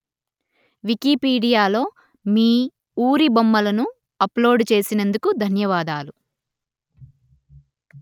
వికీపీడియాలో మీ ఊరి బొమ్మలను అప్లోడు చేసినందుకు ధన్యవాదాలు